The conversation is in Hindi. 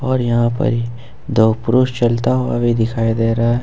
और यहां पर ही दो पुरुष चलता हुआ भी दिखाई दे रहा है।